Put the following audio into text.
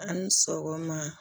A' ni sɔgɔma